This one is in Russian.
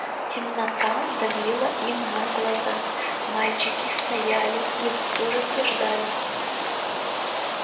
темнота давила им на глаза мальчики стояли и в ужасе ждали